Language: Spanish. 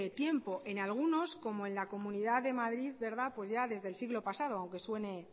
tiempo en algunos como en la comunidad de madrid ya desde el siglo pasado aunque suene